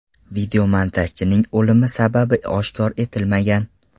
Videomontajchining o‘limi sababi oshkor etilmagan.